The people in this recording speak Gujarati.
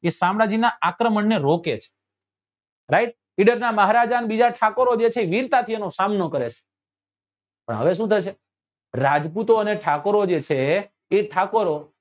એ શામળાજી નાં આક્રમણ ને રોકે છે right ઇડર નાં મહારાજા ને બીજા ઠાકોરો જે છે એ વીરતા થી એનો સામનો કરે છે પણ હવે શું થશે રાજપૂતો અને ઠાકોરો જે છે એ ઠાકોરો